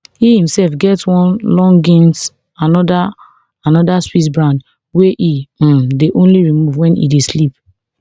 e imself get one longines another anoda swiss brand wey e um dey only remove wen e dey sleep